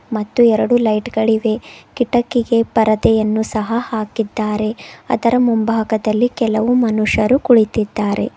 ಮತ್ತು ಎರಡು ಲೈಟ್ ಗಳಿದೆ ಕಿಟಕಿಗೆ ಪರದೆಯನ್ನು ಸಹ ಹಾಕಿದ್ದಾರೆ ಅದರ ಮುಂಭಾಗದಲ್ಲಿ ಕೆಲವು ಮನುಷರು ಕುಳಿತಿದ್ದಾರೆ.